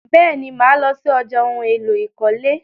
Bẹ́ẹ̀ni, mà lọ sí ọjà ohun-èlò ìkọ́lé.